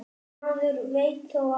Maður veit þó aldrei.